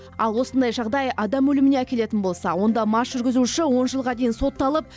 ал осындай жағдай адам өліміне әкелетін болса онда мас жүргізуші он жылға дейін сотталып